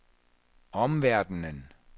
omverdenen